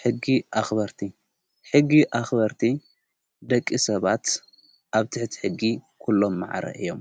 ሕጊ ኣኽበርቲ ሕጊ ኣኽበርቲ ደቂ ሰባት ኣብ ትሕቲ ሕጊ ኲሎም መዓረ እዮም